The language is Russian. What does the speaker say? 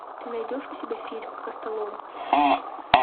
ты найдешь у себя фильм костолом